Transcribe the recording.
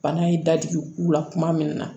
Bana ye dadigiw k'u la kuma min na